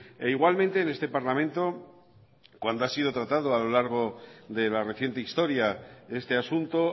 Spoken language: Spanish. e igualmente en este parlamento cuando ha sido tratado a lo largo de la reciente historia este asunto